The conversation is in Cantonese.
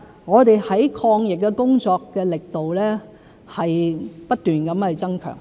我們在抗疫工作的力度是不斷增強。